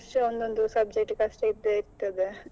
ಹೌದ್ ಅದೇ ಅದು ಹಾಗೆ ಅಲ್ಲ ಒಂದೊಂದು ವರ್ಷ ಒಂದೊಂದು Subject ಕಷ್ಟ ಇದ್ದೇ ಇರ್ತದೆ.